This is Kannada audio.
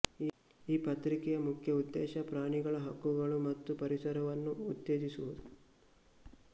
ಈ ಪತ್ರಿಕೆಯ ಮುಖ್ಯ ಉದ್ದೇಶ ಪ್ರಾಣಿಗಳ ಹಕ್ಕುಗಳು ಮತ್ತು ಪರಿಸರವನ್ನು ಉತ್ತೇಜಿಸುವುದು